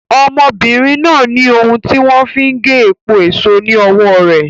ọmọbìnrin náà ní ohun tí wọ́n fi n ge epo èso ni ọwọ́ rẹ̀.